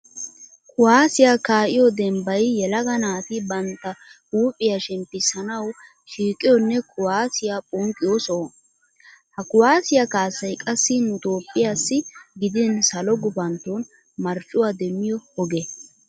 Kuwaasiya kaa'iyo dembbay yelaga naati bantta huuphiya shemppissanawu shiiqiyoonne kuwaasiya ponqqiyo soho. Ha kuwaasiya kaassay qassi nu Toophphiyassi gidin salo gupantton marccuwa demmiyo oge.